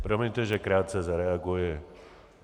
Promiňte, že krátce zareaguji.